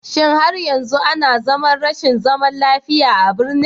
Shin har yanzu ana zaman rashin zaman lafiya a birnin?